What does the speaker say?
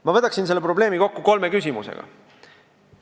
Ma võtan selle probleemi kokku kolme küsimusega.